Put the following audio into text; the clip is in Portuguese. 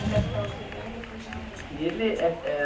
O é o primeiro e depois o. ele é, eh...